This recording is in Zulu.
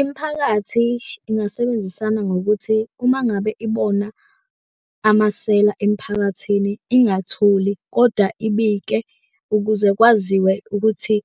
Imiphakathi ingasebenzisana ngokuthi uma ngabe ibona amasela emphakathini ingathuli koda ibike ukuze kwaziwe ukuthi